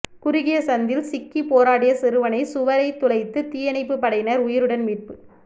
குறுகிய சந்தில் சிக்கி போராடிய சிறுவனை சுவரை துளைத்து தீயணைப்பு படையினர் உயிருடன் மீட்பு